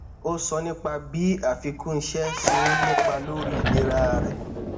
ó sọ nípa bí àfikún iṣé ṣe ń nípa lórí ìlera rẹ